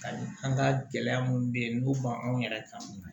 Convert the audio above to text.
Ani an ka gɛlɛya minnu bɛ yen n'u ma anw yɛrɛ kan